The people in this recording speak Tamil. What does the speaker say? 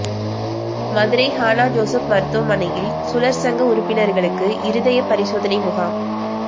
மதுரை ஹானா ஜோசப் மருத்துவமனையில் சுழற்சங்க உறுப்பினா்களுக்கு இருதய பரிசோதனை முகாம்